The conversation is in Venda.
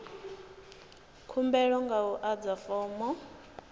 khumbelo nga u adza fomo